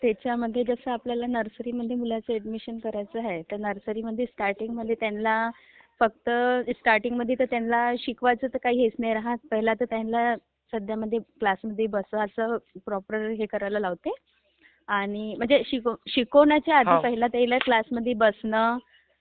त्याच्या मध्ये जस आपल्याला नर्सरी मध्ये मुलाच एड्मिशन करायच आहे तर नर्सरी मधे स्टार्टिंग मध्ये त्यांना स्टार्टिंग मधे तर त्यांना शिकवायच टीआर काही हेच नाही राहत प्रोपर्ली हे करायला लावता शिकावण्याच्या आधी क्लास मध्ये बसन